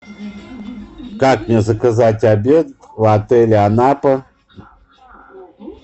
как мне заказать обед в отеле анапа